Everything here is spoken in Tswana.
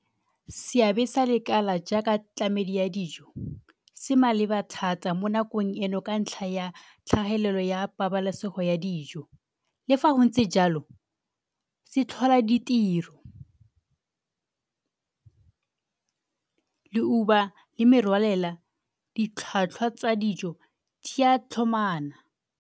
Seabe sa lekala jaaka tlamedi ya dijo se maleba thata mo nakong eno ka ntlha ya tlhagelelo ya pabalesego ya dijo le fa go ntse jalo, se tlhola ditiro leuba le merwalela, ditlhwatlhwa tsa dijo di ya tlhomana.